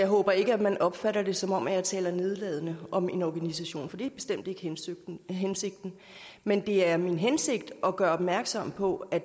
håber ikke at man opfatter det som om jeg taler nedladende om en organisation for det er bestemt ikke hensigten men det er min hensigt at gøre opmærksom på at